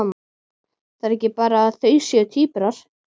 Það er ekki bara að þau séu tvíburar.